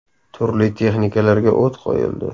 Turli texnikalarga o‘t qo‘yildi.